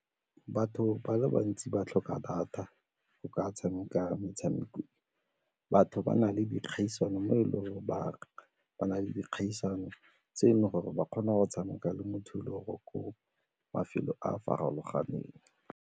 Batho ba le bantsi ba tlhoka data go ka tshameka metshameko, batho ba na le dikgaisano mo e leng gore ba na le dikgaisano tse e leng gore ba kgona go tshameka le motho dilo ko mafelong a a farologaneng.